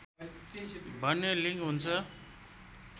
भन्ने लिङ्क हुन्छ